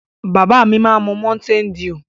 Bàbá mi má n mu mountain dew.